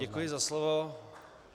Děkuji za slovo.